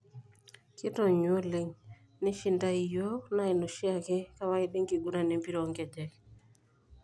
Kitonyua oleng, Nishindae yiok naa ina oshiake kawaida enkiguran empira onkejek.